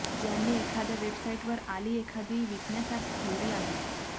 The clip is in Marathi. ज्यांनी एखाद्या वेबसाईटवर आली एखादी विकण्यासाठी ठेवली आहे